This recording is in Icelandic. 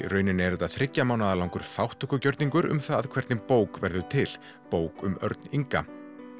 rauninni er þetta þriggja mánaða langur þátttökugjörningur um það hvernig bók verður til bók um Örn Inga